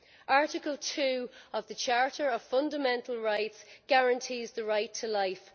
Article 2 of the Charter of Fundamental Rights guarantees the right to life.